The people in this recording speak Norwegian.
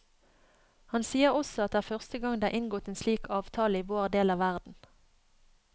Han sier også at det er første gang det er inngått en slik avtale i vår del av verden.